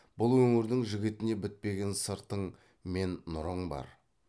бұл өңірдің жігітіне бітпеген сыртың мен нұрың бар